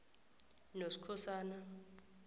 noskhosana